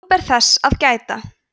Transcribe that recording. nú ber þess að gæta